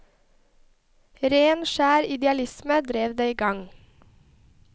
Ren, skjer idealisme drev det i gang.